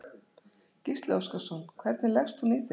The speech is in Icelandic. Gísli Óskarsson: Hvernig leggst hún í þig?